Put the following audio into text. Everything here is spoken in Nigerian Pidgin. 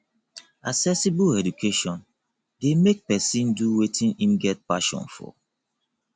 accessible education de make persin do wetin im get passion for